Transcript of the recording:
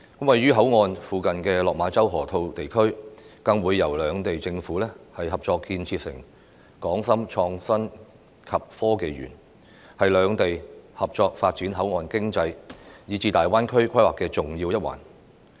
位於口岸附近的落馬洲河套地區，更會由兩地政府合作建設成港深創新及科技園，是兩地合作發展口岸經濟，以至大灣區規劃的重要一環。